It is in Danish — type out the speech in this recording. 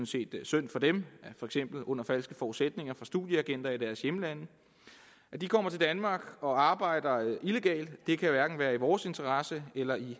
set synd for dem under falske forudsætninger af studieagenter i deres hjemlande at de kommer til danmark og arbejder illegalt kan hverken være i vores interesse eller i